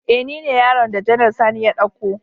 E ni ne yaron da Janar Sani ya dauko